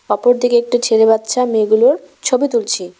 অপর দিকে একটা ছেলে বাচ্চা মেয়েগুলোর ছবি তুলছে।